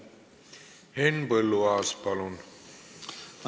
Henn Põlluaas, palun!